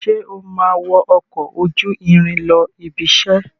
Sé o máa wọ ọkọ̀ ojú irin lọ ibiṣẹ́?